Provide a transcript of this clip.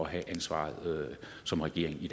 at have ansvaret som regering i